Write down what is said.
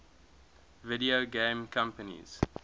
video game companies